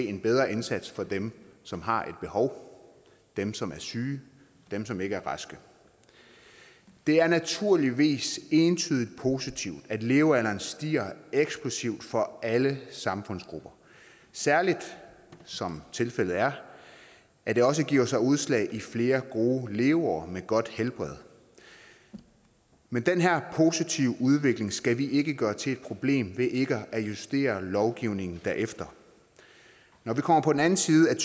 en bedre indsats for dem som har et behov dem som er syge dem som ikke er raske det er naturligvis entydigt positivt at levealderen stiger eksplosivt for alle samfundsgrupper særlig som tilfældet er at det også giver sig udslag i flere gode leveår med godt helbred men den her positive udvikling skal vi ikke gøre til et problem ved ikke at justere lovgivningen derefter når vi kommer på den anden side af